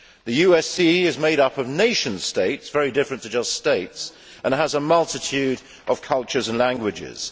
the USE is made up of nation states, very different to just states, and has a multitude of cultures and languages.